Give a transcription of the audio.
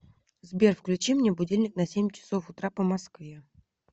сбер включи мне будильник на семь часов утра по москве